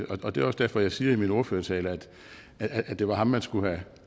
og det er også derfor jeg siger i min ordførertale at det var ham man skulle have